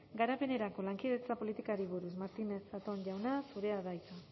garapenerako lankidetza politikari buruz martínez zatón jauna zurea da hitza